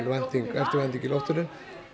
eftirvænting í loftinu